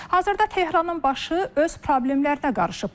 Hazırda Tehranın başı öz problemlərinə qarışıb.